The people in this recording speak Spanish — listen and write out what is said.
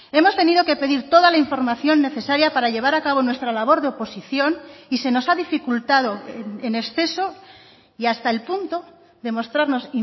hemos tenido que pedir toda la información necesaria para llevar a cabo nuestra labor de oposición y se nos ha dificultado en exceso y hasta el punto de mostrarnos